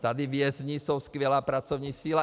Tady vězni jsou skvělá pracovní síla.